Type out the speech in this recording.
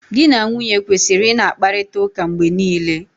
Di na nwunye kwesịrị ị na-akparịta ụka mgbe niile.